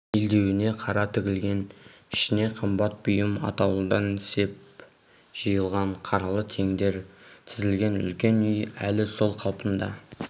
белдеуіне қара тігілген ішіне қымбат бұйым атаулыдан сеп жиылған қаралы теңдер тізілген үлкен үй әлі сол қалпында